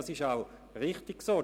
Das ist auch richtig so: